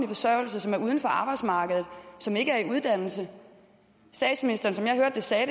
forsørgelse som er uden for arbejdsmarkedet og som ikke er i uddannelse som jeg hørte det sagde